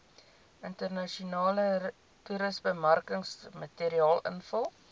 internasionale toerismebemarkingsmateriaal invul